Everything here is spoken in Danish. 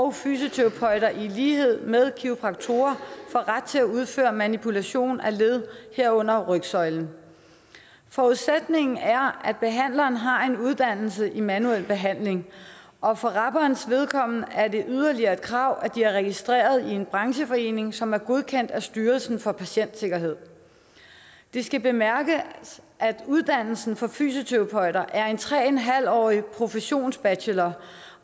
og fysioterapeuter i lighed med kiropraktorer får ret til at udføre manipulation af led herunder rygsøjlen forudsætningen er at behandleren har en uddannelse i manuel behandling og for rabernes vedkommende er det yderligere et krav at de er registreret i en brancheforening som er godkendt af styrelsen for patientsikkerhed det skal bemærkes at uddannelsen for fysioterapeuter er en tre en halv årig professionsbachelor